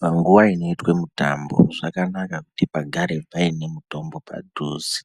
Panguwa inoitwe mitambo zvakanaka kuti pagare paine mitombo padhuze